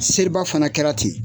Seri ba fana kɛra ten.